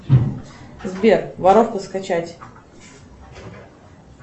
сбер воровку скачать